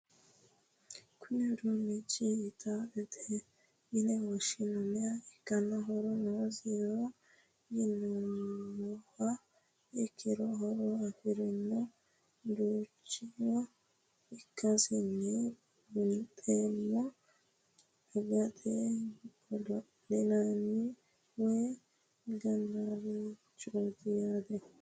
Kuni udunichi gitarete yine woshinaniha ikana horo nosiho yinumoha ikiro horo afirino udunicho ikasino bunxemo angate godoli'nanni woye gananirichti yaate?